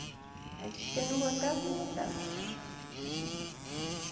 Ela disse que não voltava, não voltava.